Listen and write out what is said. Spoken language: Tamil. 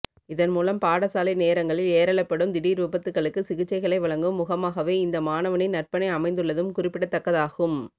இன்மூலம் பாடசாலை நேரங்களில் ஏறௌபடும் திடீர் வீபத்துக்களுக்கு சிகிச்சைகளை வழங்கும் முகமாகவே இந்த மாணவனின் நற்பணி அமைந்துள்ளதும் குறிப்பிடத்தக்கதாகும்